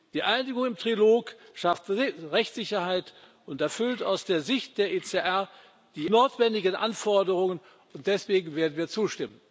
Die Einigung im Trilog schafft Rechtssicherheit und erfüllt aus der Sicht der ECR die notwendigen Anforderungen, und deswegen werden wir zustimmen.